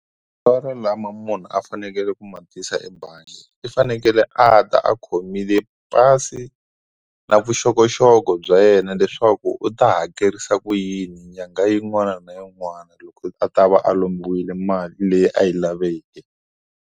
Matsalwa lama munhu a fanekele ku matisa ebangi u fanekele a ta a khomile pasi na vuxokoxoko bya yena leswaku u ta hakerisa ku yini nyanga yin'wana na yin'wana loko a ta va a lombiwile mali leyi a yi laveke.